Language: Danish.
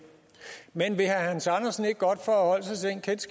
men vil herre